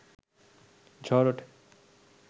ঝড় ওঠে